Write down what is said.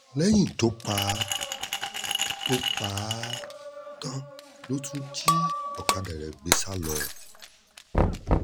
lẹ́yìn tó pa tó pa á tán ló tún jí ọ̀kadà rẹ̀ gbé sá lọ